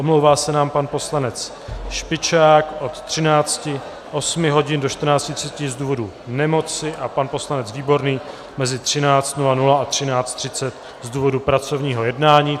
Omlouvá se nám pan poslanec Špičák od 13 hodin do 14.30 z důvodů nemoci a pan poslanec Výborný mezi 13.00 a 13.30 z důvodu pracovního jednání.